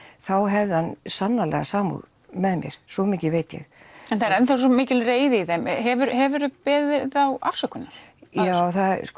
þá hefði hann sannarlega samúð með mér svo mikið veit ég en það er enn þá svo mikil reiði í þeim hefur hefur þú beðið þá afsökunar já